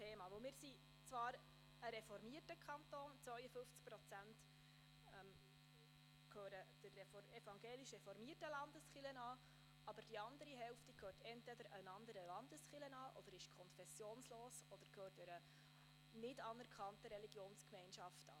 Wir sind zwar ein reformierter Kanton, 52 Prozent gehören der evangelisch-reformierten Landeskirche an, aber die andere Hälfte gehört entweder einer anderen Landeskirche an, ist konfessionslos oder gehört einer nicht anerkannten Religionsgemeinschaft an.